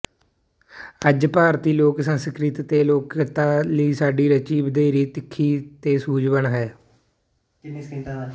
ਅੱਜ ਭਾਰਤੀ ਲੋਕ ਸੰਸਕ੍ਰਿਤੀ ਤੇ ਲੋਕਕਲਾ ਲਈ ਸਾਡੀ ਰੁੱਚੀ ਵਧੇਰੇ ਤਿੱਖੀ ਤੇ ਸੂਝਵਾਨ ਹੈ